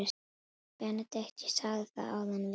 BENEDIKT: Ég sagði það áðan: Við erum.